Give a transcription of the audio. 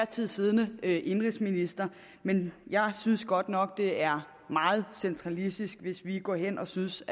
tid siddende indenrigsminister men jeg synes godt nok det er meget centralistisk hvis vi går hen og synes